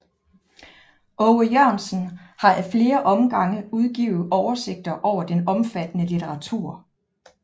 Aage Jørgensen har ad flere omgange udgivet oversigter over den omfattende litteratur